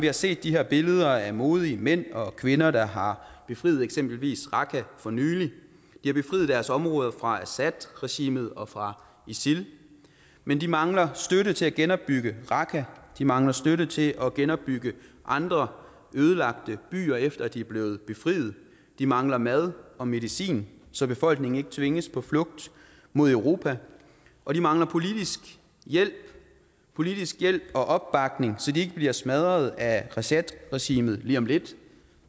har set de her billeder af modige mænd og kvinder der har befriet eksempelvis raqqa for nylig de har befriet deres områder fra assadregimet og fra isil men de mangler støtte til at genopbygge raqqa de mangler støtte til at genopbygge andre ødelagte byer efter at de er blevet befriet de mangler mad og medicin så befolkningen ikke tvinges på flugt mod europa og de mangler politisk hjælp politisk hjælp og opbakning så de ikke bliver smadret af assadregimet lige om lidt